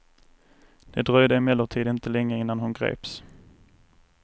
Det dröjde emellertid inte länge innan hon greps.